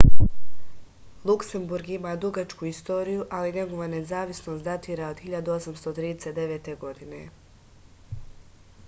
luksemburg ima dugačku istoriju ali njegova nezavisnost datira od 1839. godine